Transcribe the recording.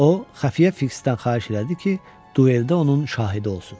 O xəfiyyə Fiksdən xahiş elədi ki, dueldə onun şahidi olsun.